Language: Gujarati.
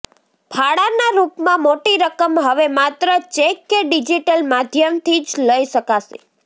ફાળાના રૂપમાં મોટી રકમ હવે માત્ર ચેક કે ડિજીટલ માધ્યમથી જ લઈ શકાશે